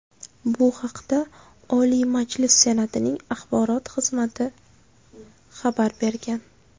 Bu haqda Oliy Majlis Senatining axborot xizmati xabar bergan .